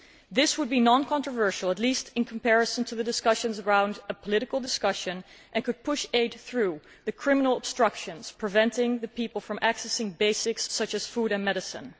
This would be non controversial, at least in comparison to the discussions around a political discussion, and could push aid through the criminal obstructions preventing the people from accessing basics such as food and medicine.